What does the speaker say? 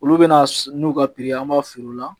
Olu bɛna n'u ka ye an b'a fil'u la